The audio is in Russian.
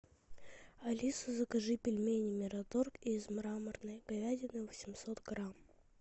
алиса закажи пельмени мираторг из мраморной говядины восемьсот грамм